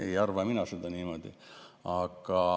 Ei arva mina niimoodi.